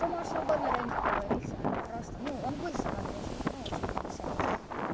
ты можешь не говорить а просто ну он будет со мной дружить ну типо несерва